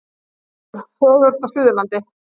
Helga Rún fegurst á Suðurlandi